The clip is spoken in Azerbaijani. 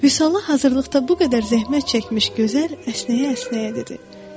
Vüsala hazırlıqda bu qədər zəhmət çəkmiş gözəl əsnəyə-əsnəyə dedi.